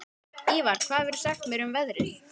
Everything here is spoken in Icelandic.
Ívar, hvað geturðu sagt mér um veðrið?